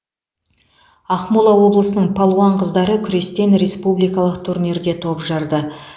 ақмола облысының палуан қыздары күрестен республикалық турнирде топ жарды